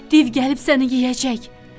Div gəlib səni yeyəcək.